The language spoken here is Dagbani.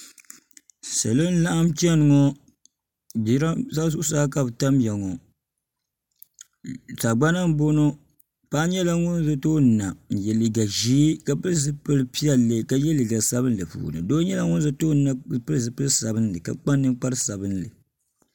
salo n laɣam chɛni ŋo jiranbiisa zuɣusaa ka bi tamya ŋo sagbana n boŋo paɣa nyɛla ŋun bɛ tooni ni na n yɛ liiga ʒiɛ ka pili zipili piɛlli ka yɛ liiga sabinli puuni doi nyɛla ŋun za tooni na ka pili zipili sabinli ka kpa ninkpari sabinli